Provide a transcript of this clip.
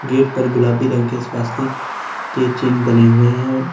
Gate पर गुलाबी रंग के स्वास्तिक के चिन्ह बने हुए हैं।